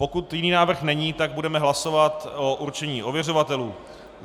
Pokud jiný návrh není, tak budeme hlasovat o určení ověřovatelů.